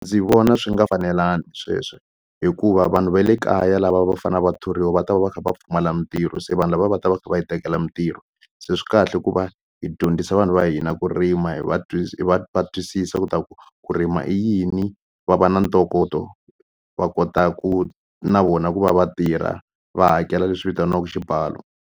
Ndzi vona swi nga fanelangi sweswo hikuva vanhu va le kaya lava va fane va thoriwa va ta va va kha va pfumala mintirho se vanhu lava va ta va kha va hi tekela mintirho se swi kahle ku va hi dyondzisa vanhu va hina ku rima hi va va va twisisa ku ta ku ku rima i yini va va na ntokoto va kota ku na vona ku va vatirha va hakela leswi vitaniwaku xibalo.